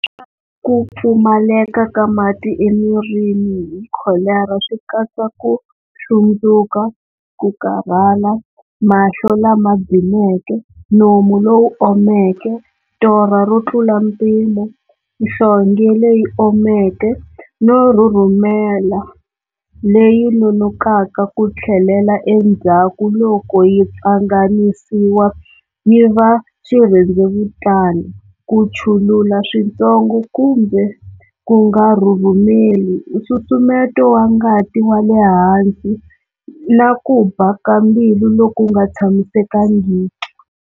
Ku pfumaleka ka mati emirini hi kholera swi katsa ku hlundzuka, ku karhala, mahlo lama dzimeke, nomu lowu omeke, torha ro tlula mpimo, nhlonge leyi omeke no rhurhumela leyi nonokaka ku tlhelela endzhaku loko yi pfanganisiwa yi va xirhendzevutana, ku chulula switsongo kumbe ku nga rhurhumeli, nsusumeto wa ngati wa le hansi, na ku ba ka mbilu loku nga tshamisekangiki.